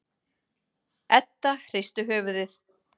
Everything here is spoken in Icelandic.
Edda hristi höfuðið.